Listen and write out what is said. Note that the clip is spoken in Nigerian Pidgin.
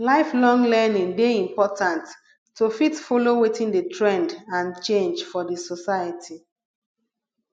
lifelong learning de important to fit follow wetin de trend and change for di society